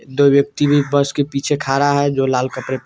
दो व्यक्ति भी बस के पीछे खड़ा है जो लाल कपड़े --